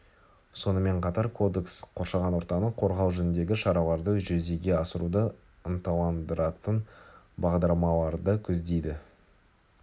сонымен қатар кодекс қоршаған ортаны қорғау жөніндегі шараларды жүзеге асыруды ынталандыратын бағдарламаларды көздейді